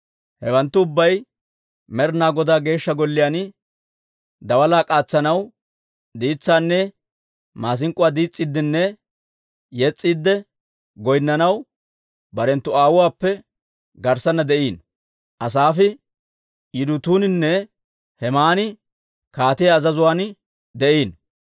Hawanttu ubbay Med'inaa Godaa Geeshsha Golliyaan daalaa k'aatsanaw, diitsaanne maasink'k'uwaa diis's'iiddenne yes's'iidde goynnanaw, barenttu aawuwaappe garssanna de'iino. Asaafe, Yidutuuninne Hemaani kaatiyaa azazuwaan de'iino.